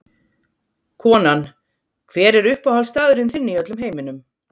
Konan Hver er uppáhaldsstaðurinn þinn í öllum heiminum?